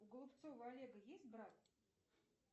у голубцова олега есть брат